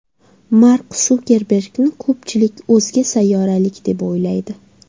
Mark Sukerbergni ko‘pchilik o‘zga sayyoralik deb o‘ylaydi.